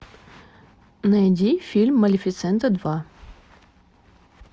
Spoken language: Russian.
найди фильм малефисента два